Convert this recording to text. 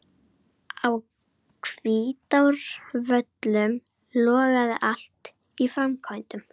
Á Hvítárvöllum logaði allt í framkvæmdum.